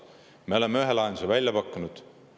Me oleme ühe lahenduse välja pakkunud.